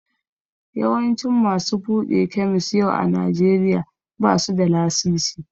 Yawancin masu buɗe kemis yau a Najeriya ba su da lasisi.